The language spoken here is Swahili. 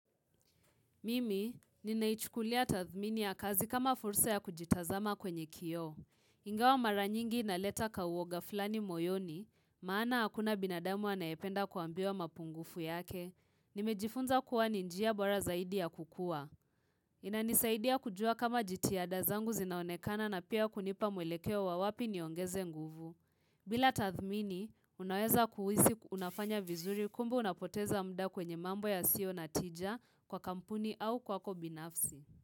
Mimi, ninaichukulia tathmini ya kazi kama fursa ya kujitazama kwenye kioo. Ingawa mara nyingi inaleta kauoga fulani moyoni, maana hakuna binadamu anayependa kuambiwa mapungufu yake. Nimejifunza kuwa ni njia bora zaidi ya kukua. Inanisaidi ya kujua kama jitihada zangu zinaonekana na pia kunipa mwelekeo wa wapi niongeze nguvu. Bila tathmini, unaweza kuhisi unafanya vizuri kumbe unapoteza muda kwenye mambo yasionatija kwa kampuni au kwako binafsi.